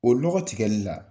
O lɔgɔ tigɛli la,